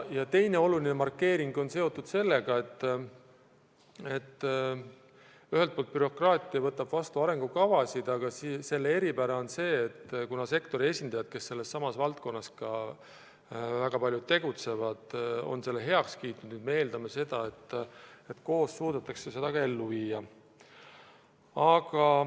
Teine oluline markeering on see, et kui üldiselt bürokraatia võtab vastu arengukavasid, siis selle dokumendi eripära on see, et kuna sektori esindajad, kellest väga paljud selles valdkonnas tegutsevad, on selle heaks kiitnud, siis võib eeldada, et koos suudetakse see ka ellu viia.